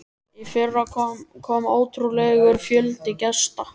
Í fyrra kom ótrúlegur fjöldi gesta.